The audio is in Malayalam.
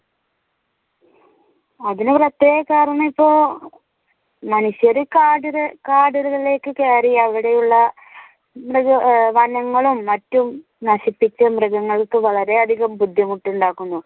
അതിനു പ്രത്യേക കാരണം ഇപ്പോൾ മനുഷ്യർ കാടുകകാടുകളിലേക്കു കയറി അവിടെയുള്ള വനങ്ങളും മറ്റും നശിപ്പിച്ചു മൃഗങ്ങൾക്ക് വളരെയധികം ബുദ്ധിമുട്ട് ഉണ്ടാക്കുന്നു.